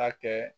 A kɛ